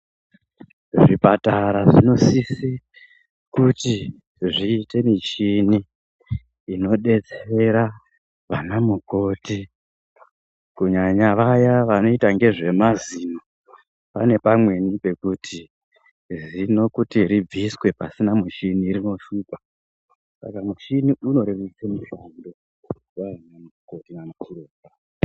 Zvipatara zvinosise kuti zviite muchini inodetsera ana mukotikunyanya Vaya vanoita ngezvemazino, pane pamweni pekuti zino kuti ribviswe pasina muchini rinoshupa, saka mushini unorerusa mushando waana mukoti nana chiremba.